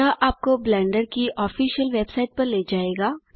यह आपको ब्लेंडर की ऑफिसल वेबसाइट पर ले जायेगा